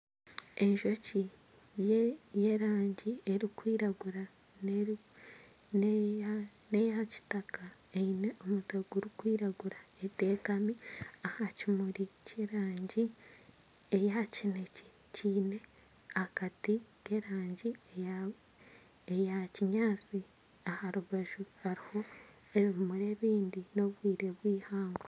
Enjoki y'erangi erikwirangura n'eyakitaka eine omutwe gurikwiragura etekami aha kimuri ky'erangi eya kineekye kiine akati ky'erangi eya kinyaatsi aha rubaju hariho ebimuri ebindi n'obwire bw'eihangwe